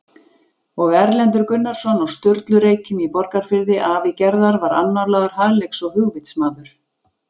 Og Erlendur Gunnarsson á Sturlureykjum í Borgarfirði afi Gerðar var annálaður hagleiks- og hugvitsmaður.